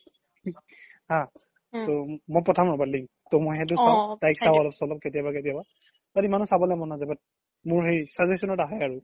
আ মই পথাম ৰবা link তৌ মই সেইতো চাও তাইক চাও অলপ চলপ কেতিয়াবা কেতিয়াবা but ইমানও চাবলৈ মন নাজাই but মোৰ সেই suggestion ত আহে আৰু